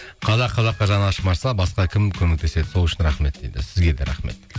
қазақ қазаққа жаны ашымаса басқа кім көмектеседі сол үшін рахмет дейді сізге де рахмет